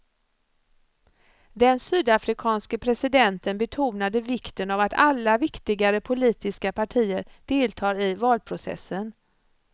Den sydafrikanske presidenten betonade vikten av att alla viktigare politiska partier deltar i valprocessen.